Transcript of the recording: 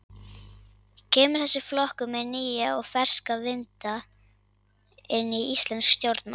Kemur þessi flokkur með nýja og ferska vinda inn í íslensk stjórnmál?